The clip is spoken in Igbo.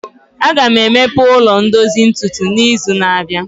Aga m emepe ụlọ ndozu ntutu n'izu na-abịa